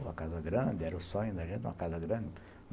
Uma casa grande, era o sonho da gente, uma casa grande.